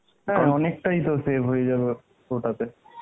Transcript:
অনেকটাই তো save হয়ে যাবে ওটাতে